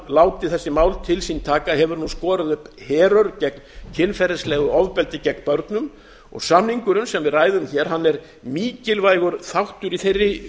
látið þessi mál til sín taka hefur nú skorið upp herör gegn kynferðislegu ofbeldi gegn börnum og samningurinn sem við ræðum hér er mikilvægur þáttur í þeirri